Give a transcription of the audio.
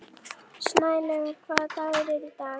Snælaugur, hvaða dagur er í dag?